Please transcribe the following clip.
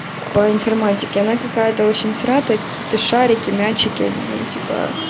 по информатике она какая-то очень сратая какие-то шарики мячики ну типо